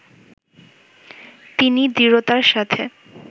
তিনি দৃঢ়তার সাথে